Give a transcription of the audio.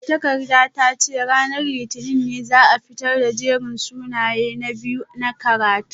Magatakardar ta ce ranar litinin ne za a fitar da jerin sunayen na biyu na karatu